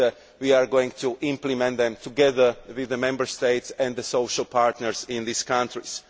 We are going to implement them together with the Member States and the social partners in these countries.